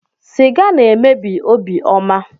Siga na-emebi obiọma.